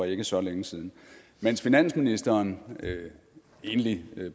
ikke så længe siden mens finansministeren egentlig